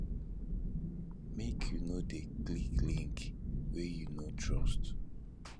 make you no dey click link wey you no trust